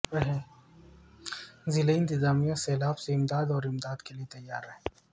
ضلعی انتظامیہ سیلاب سے امداد اور امداد کیلئے تیار ہے